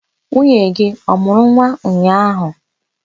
Nwunye gị ọ mụrụ nwa ụnyaahụ?